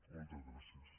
moltes gràcies